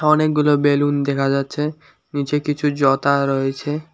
অনেকগুলো বেলুন দেখা যাচ্ছে নিচে কিছু জতা রয়েছে।